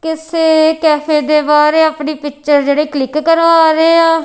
ਕਿਸੇ ਕੈਫੇ ਦੇ ਬਾਹਰ ਇਹ ਆਪਣੀ ਪਿੱਚਰ ਜਿਹੜੇ ਕਲਿੱਕ ਕਰਵਾ ਰਹੇ ਆ।